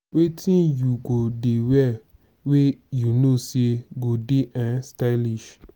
wetin you go dey wear wey you know say go dey um stylish?